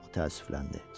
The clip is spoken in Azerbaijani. təəssüfləndi.